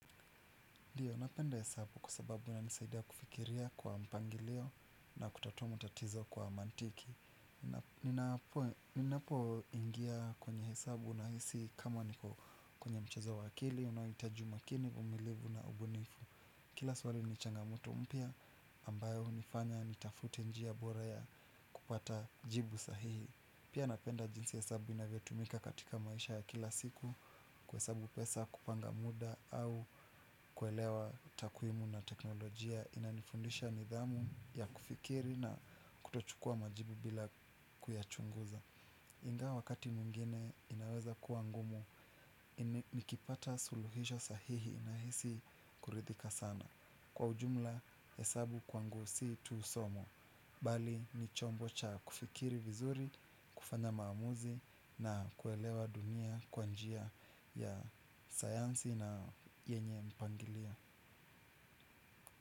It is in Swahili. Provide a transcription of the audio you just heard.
Ndiyo, napenda hesabu kwa sababu inanisaidia kufikiria kwa mpangilio na kutatua matatizo kwa mantiki. Ninapo ingia kwenye hesabu nahisi kama niko kwenye mchezo wa akili, unaohitaji umakini, umilivu na ubunifu. Kila swali ni changamoto mpya ambayo hunifanya, nitafute njia bora ya kupata jibu sahihi. Pia napenda jinsi hesabu inavyotumika katika maisha ya kila siku kuhesabu pesa kupanga muda au kuelewa takwimu na teknolojia inanifundisha nidhamu ya kufikiri na kutochukua majibu bila kuyachunguza. Ingawa wakati mwngine inaweza kuwa ngumu nikipata suluhisho sahihi nahisi kuridhika sana. Kwa ujumla hesabu kwangu si tu somo bali ni chombo cha kufikiri vizuri, kufanya maamuzi na kuelewa dunia kwa njia ya sayansi na yenye mpangilio.